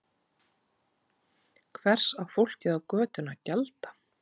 Hvers á fólkið á götunni að gjalda?